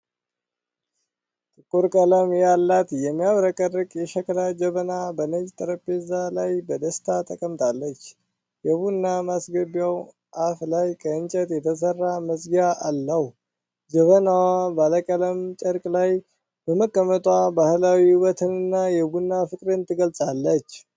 ጥቁር ቀለም ያላት የሚያብረቀርቅ የሸክላ ጀበና በነጭ ጠረጴዛ ላይ በደስታ ተቀምጣለች። የቡና ማስገቢያው አፍ ላይ ከእንጨት የተሠራ መዝጊያ አለው። ጀበናዋ ባለቀለም ጨርቅ ላይ በመቀመጧ ባህላዊ ውበትንና የቡና ፍቅርን ትገልጻለች።